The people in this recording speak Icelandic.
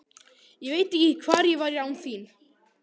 Ég veit ekki hvar ég væri án þín.